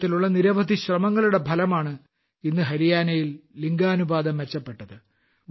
ഇത്തരത്തിലുള്ള നിരവധി ശ്രമങ്ങളുടെ ഫലമാണ് ഇന്ന് ഹരിയാനയിൽ ലിംഗാനുപാതം മെച്ചപ്പെട്ടത്